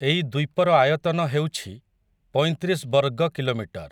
ଏଇ ଦ୍ୱୀପର ଆୟତନ ହେଉଛି, ପଇଁତିରିଶ୍ ବର୍ଗ କିଲୋମିଟର ।